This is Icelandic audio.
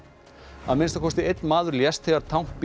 að minnsta kosti einn maður lést þegar